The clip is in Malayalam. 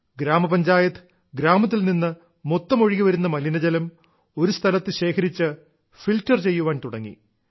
ഗ്രാമപഞ്ചായത്ത് ഗ്രാമത്തിൽ നിന്ന് മൊത്തം ഒഴുകിവരുന്ന മലിനജലം ഒരു സ്ഥലത്ത് ശേഖരിച്ച് ഫിൽട്ടർ ചെയ്യാൻ തുടങ്ങി